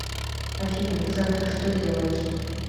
афина ты завтра что делаешь